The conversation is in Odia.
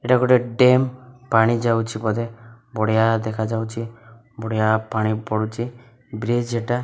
ଏଟା ଗୋଟେ ଟେମ୍ ପାଣି ଯାଉଛି ବୋଧେ ବଢ଼ିଆ ଦେଖାଯାଉଛି ବଢ଼ିଆ ପାଣି ପଡ଼ୁଚି ବ୍ରିଜ୍ ଏଟା --